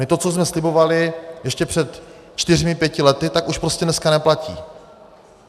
My to, co jsme slibovali ještě před čtyřmi pěti lety, tak už prostě dneska neplatí.